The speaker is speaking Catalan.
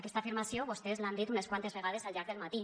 aquesta afirmació vostès l’han dit unes quantes vegades al llarg del matí